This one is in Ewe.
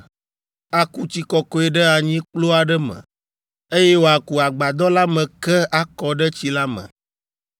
aku tsi kɔkɔe ɖe anyikplu aɖe me, eye wòaku agbadɔ la me ke akɔ ɖe tsi la me.